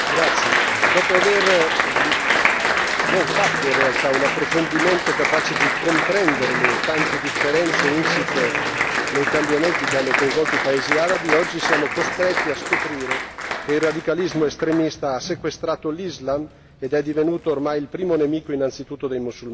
Signor Presidente, onorevoli colleghi, dopo aver non fatto in realtà un approfondimento capace di comprendere le tante differenze insite nei cambiamenti che hanno coinvolto i paesi arabi, oggi siamo costretti a scoprire che il radicalismo estremista ha sequestrato l'Islam ed è divenuto ormai il primo nemico innanzitutto dei musulmani.